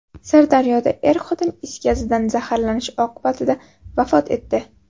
Sirdaryoda er-xotin is gazidan zaharlanish oqibatida vafot etdi.